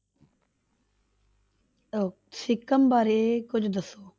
ਅਹ ਸਿਕਿਮ ਬਾਰੇ ਕੁੱਝ ਦੱਸੋ।